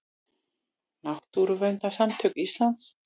Náttúruverndarsamtök Íslands.